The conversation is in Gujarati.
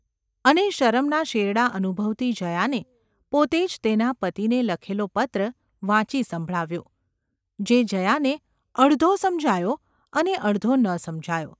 અને શરમના શેરડા અનુભવતી જયાને પોતે જ તેના પતિને લખેલો પત્ર વાંચી સંભળાવ્યો – જે જયાને અડધો સમજાયો અને અડધો ન સમજાયો.